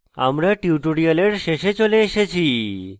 আমরা tutorial শেষে চলে এসেছি